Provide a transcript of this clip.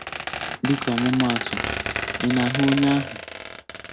Dịka ọmụma atụ: ị na-ahụ onye ahụ́?.